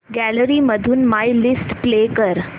gallery मधून my list play कर